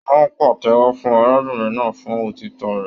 Wọn pàtẹ́wọ́ fún arábìnrin náà fún òtítọ rẹ.